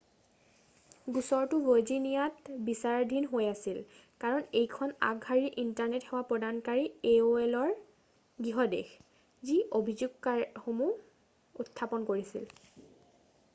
গোচৰটো ভাৰ্জিনিয়াত বিচাৰাধীন হৈ আছিল কাৰণ এইখন আগশাৰীৰ ইণ্টাৰনেট সেৱা প্ৰদানকাৰী aolৰ গৃহ দেশ যি অভিযোগসমূহ উত্থাপন কৰিছিল।